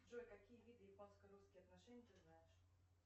джой какие виды японско русских отношений ты знаешь